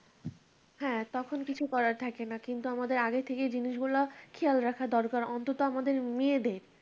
হ্যাঁ তখন কিছু করার থাকে না কিন্তু আমাদের আগে থেকেই জিনিসগুলা খেয়াল রাখা দরকার অন্তত আমাদের মেয়েদের